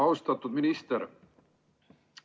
Austatud minister!